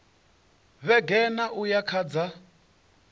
vhege nṋa uya kha dza